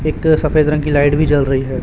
एक सफेद रंग की लाईट भी जल रही है।